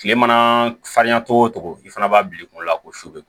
Kile mana farinya cogo o cogo i fana b'a bila i kunkolo la ko su bɛ